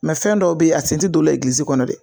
fɛn dɔw bɛ a sen tɛ don o la kɔnɔ dɛ.